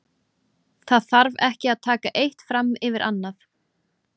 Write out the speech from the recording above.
Það þarf ekki að taka eitt fram yfir annað.